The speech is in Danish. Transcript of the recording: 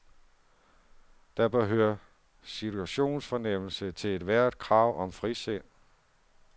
Der bør høre situationsfornemmelse til ethvert krav om frisind.